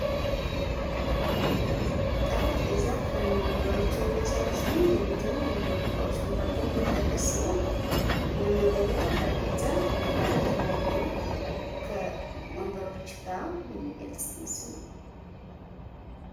ጠረጴዛ ከእነ ወንበሮች የሚያሳይ ሲሆን የቤት እና የቢሮ እቃዎች መካከል የሚጠቀስ ሲሆን መመገበያ ጠረጴዛን ከተለያዩ ወንበሮች ጋር የሚገልጽ ምስል ነው።